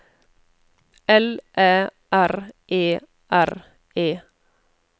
L Æ R E R E